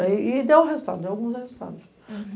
E deu resultado, deu alguns resultados.